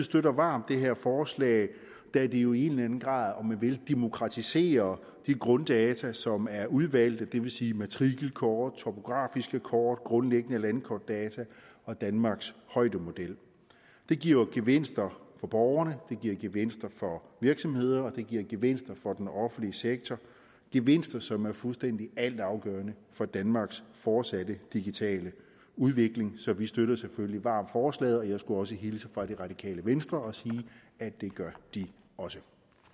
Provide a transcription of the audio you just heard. støtter varmt det her forslag da det jo i en eller anden grad vil demokratisere de grunddata som er udvalgte det vil sige matrikelkort topografiske kort grundlæggende landkortdata og danmarks højdemodel det giver gevinster for borgerne det giver gevinster for virksomhederne og det giver gevinster for den offentlige sektor gevinster som er fuldstændig altafgørende for danmarks fortsatte digitale udvikling så vi støtter selvfølgelig varmt forslaget og jeg skulle også hilse fra det radikale venstre og sige at det gør de også